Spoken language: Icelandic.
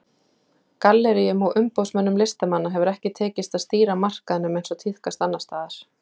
Galleríum og umboðsmönnum listamanna hefur ekki tekist að stýra markaðnum eins og tíðkast annars staðar.